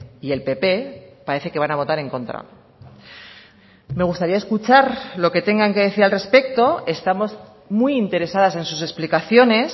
y el pp parece que van a votar en contra me gustaría escuchar lo que tengan que decir al respecto estamos muy interesadas en sus explicaciones